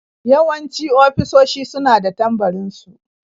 Yawanci ofisoshi su na da tambarin su.